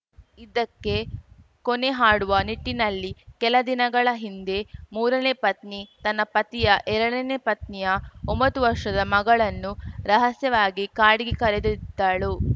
ಇದಕ್ಕೆ ಕೊನೆ ಹಾಡುವ ನಿಟ್ಟಿನಲ್ಲಿ ಕೆಲ ದಿನಗಳ ಹಿಂದೆ ಮೂರನೇ ಪತ್ನಿ ತನ್ನ ಪತಿಯ ಎರಡನೇ ಪತ್ನಿಯ ಒಂಬತ್ತು ವರ್ಷದ ಮಗಳನ್ನು ರಹಸ್ಯವಾಗಿ ಕಾಡಿಗೆ ಕರೆದೊಯ್ದಿದ್ದಳು